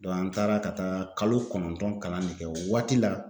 an taara ka taa kalo kɔnɔntɔn kalan de kɛ o waati la